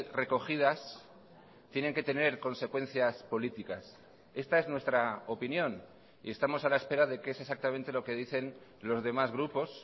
recogidas tienen que tener consecuencias políticas esta es nuestra opinión y estamos a la espera de qué es exactamente lo que dicen los demás grupos